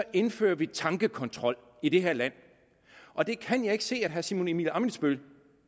indfører vi tankekontrol i det her land og det kan jeg ikke se at herre simon emil ammitzbøll